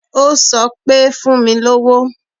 Ó sọ pé, Fún mi lówó.